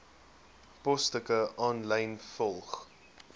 posstukke aanlyn volg